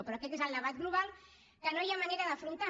però aquest és el debat global que no hi ha manera d’afrontar